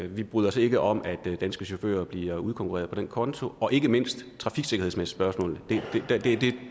vi bryder os ikke om at danske chauffører bliver udkonkurreret på den konto og ikke mindst trafiksikkerhedsspørgsmålet